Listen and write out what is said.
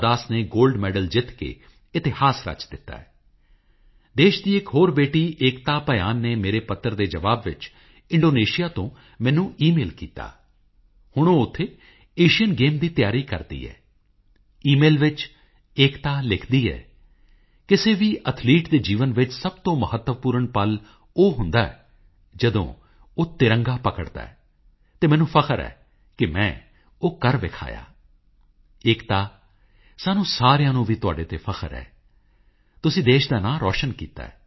ਮੇਰੇ ਨੰਨ੍ਹੇਮੁੰਨੇ ਸਾਥੀਓ ਇਮਤਿਹਾਨਾਂ ਦੇ ਦਿਨ ਆਉਣ ਵਾਲੇ ਹਨ ਹਿਮਾਚਲ ਪ੍ਰਦੇਸ਼ ਦੇ ਨਿਵਾਸੀ ਅੰਸ਼ੁਲ ਸ਼ਰਮਾ ਨੇ ਮਾਈਗੋਵ ਉੱਪਰ ਲਿਖਿਆ ਹੈ ਕਿ ਮੈਨੂੰ ਇਮਤਿਹਾਨਾਂ ਅਤੇ ਐਕਸਾਮ ਵਾਰੀਅਰਜ਼ ਦੇ ਬਾਰੇ ਵੀ ਗੱਲ ਕਰਨੀ ਚਾਹੀਦੀ ਹੈ ਅੰਸ਼ੁਲ ਜੀ ਇਹ ਮੁੱਦਾ ਚੁੱਕਣ ਲਈ ਤੁਹਾਡਾ ਧੰਨਵਾਦ ਹਾਂ ਕਈ ਪਰਿਵਾਰਾਂ ਲਈ ਸਾਲ ਦਾ ਪਹਿਲਾ ਹਿੱਸਾ ਐਕਸਾਮ ਸੀਜ਼ਨ ਹੁੰਦਾ ਹੈ ਵਿਦਿਆਰਥੀ ਉਨ੍ਹਾਂ ਦੇ ਮਾਪਿਆਂ ਤੋਂ ਲੈ ਕੇ ਅਧਿਆਪਕ ਤੱਕ ਸਾਰੇ ਲੋਕ ਇਮਤਿਹਾਨਾਂ ਨਾਲ ਸਬੰਧਿਤ ਕੰਮਾਂ ਵਿੱਚ ਰੁੱਝੇ ਰਹਿੰਦੇ ਹਨ